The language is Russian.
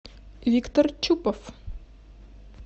виктор чупов